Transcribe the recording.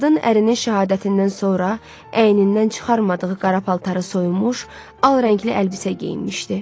Qadın ərinin şəhadətindən sonra əynindən çıxarmadığı qara paltarı soyunmuş, al rəngli əlbisə geyinmişdi.